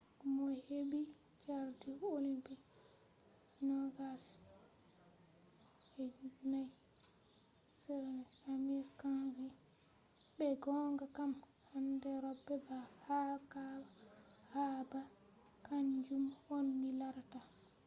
mo hebi chardi olympic 2004 amir khan vi’’ be gonga kam handai robe haba kanjum on mi larata’’